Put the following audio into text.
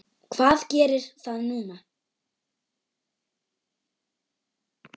Hvað gerir það núna?